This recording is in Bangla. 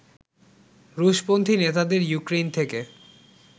রুশপন্থি নেতাদের ইউক্রেইন থেকে